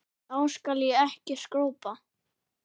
Þá skal ég ekki skrópa.